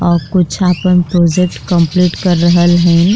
और कुछ आपन प्रोजेक्ट कम्पलीट कर रहल हइन।